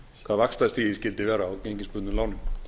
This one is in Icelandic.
hvað vaxtastigið skyldi vera á gengisbundnum lánum